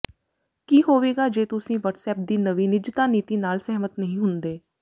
ਕੀ ਹੋਵੇਗਾ ਜੇ ਤੁਸੀਂ ਵੱਟਸਐਪ ਦੀ ਨਵੀਂ ਨਿੱਜਤਾ ਨੀਤੀ ਨਾਲ ਸਹਿਮਤ ਨਹੀਂ ਹੁੰਦੇ